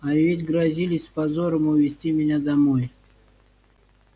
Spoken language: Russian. а ведь грозились с позором увезти меня домой